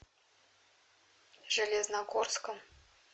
железногорском